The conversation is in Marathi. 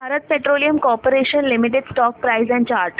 Bharat Petroleum Corporation Limited stock price and chart